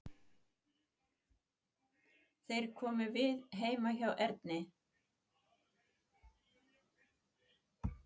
Þeir komu við heima hjá Erni.